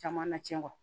Caman na cɛn